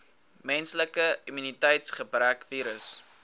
menslike immuniteitsgebrekvirus